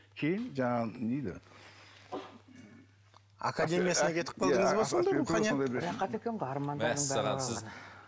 кейін жаңағы не дейді академиясына кетіп қалдыңыз ба